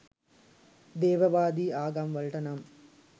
දේවවාදී ආගම් වලට නම්